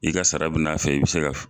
I ka sara bi n'a fɛ i bɛ se ka